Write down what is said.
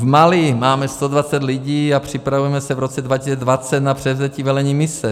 V Mali máme 120 lidí a připravujeme se v roce 2020 na převzetí velení mise.